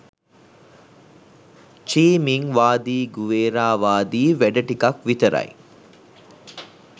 චි Minh වාදී Guevara වාදී වැඩ ටිකක් විතරයි.